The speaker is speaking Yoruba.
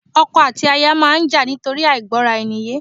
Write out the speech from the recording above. Ọkọ àti aya máa ń jà nítorí àìgbọ́ra-eni-yé